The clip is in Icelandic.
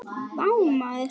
Vá maður!